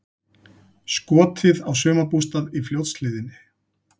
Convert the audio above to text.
Skotið á sumarbústað í Fljótshlíðinni